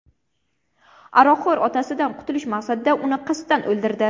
aroqxo‘r otasidan qutulish maqsadida uni qasddan o‘ldirdi.